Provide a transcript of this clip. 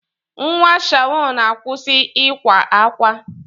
Nwa Shawn, akwụsị ịkwa ákwá!